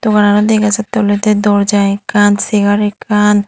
wallanot degajatte ole doorja ekkan segar ekkan.